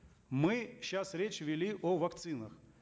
мы сейчас речь вели о вакцинах